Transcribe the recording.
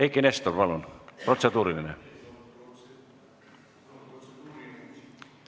Eiki Nestor, palun, protseduuriline!